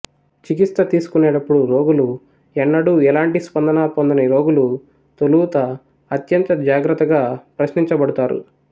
చికిత్స తీసుకునేటప్పుడు రోగులు ఎన్నడూ ఎలాంటి స్పందన పొందని రోగులు తొలుత అత్యంత జాగ్రత్తగా ప్రశ్నించబడుతారు